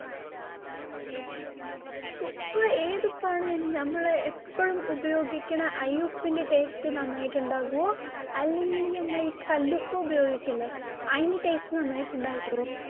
ഉപ്പ് ഏതു ഉപ്പാണ് നന്നി ഞമ്മള് എപ്പോഴും ഉപയോഗിക്കുന്ന, അ ഈ ഉപ്പിന്റെ taste നന്നായിട്ട് ഉണ്ടാകുമോ. അല്ലെങ്കിൽ ഞമ്മള് ഈ കല്ലുപ്പ് ഉപയോഗിക്കില്ലെ, അതിന്റെ taste നന്നായിട്ട് ഉണ്ടാകുമോ.